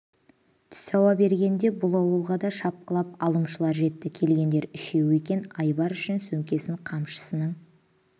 түс ауа бергенде бұл ауылға да шапқылап алымшылар жетті келгендер үшеуі екен айбар үшін сөмкесін қамшысының